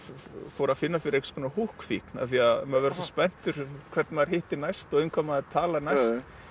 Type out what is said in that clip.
fór að finna fyrir einhvers konar húkkfíkn af því maður verður svo spenntur hvern maður hittir næst og um hvað maður talar næst